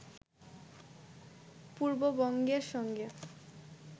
পূর্ববঙ্গের সঙ্গে